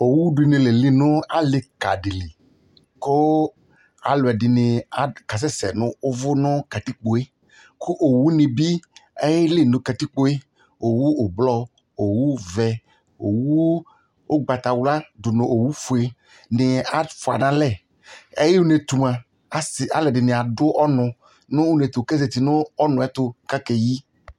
Owu dɩnɩ la eli nʋ alɩ ka dɩ li, kʋ alʋ ɛdɩnɩ kasɛsɛ nʋ ʋvʋ nʋ katikpo yɛ, kʋ owunɩ bɩ ayeli nʋ katikpo yɛ, owu ʋblɔ owu vɛ, owu ʋgbata wla dʋ nʋ owu fuenɩ afʋa nʋ alɛ, ayʋ une yɛ ɛtʋ mʋa, asɩ alʋ ɛdɩnɩ adʋ ɔnʋ nʋ une yɛ ɛtʋ, kʋ azati nʋ ɔnʋ yɛ ɛtʋ kʋ akeyi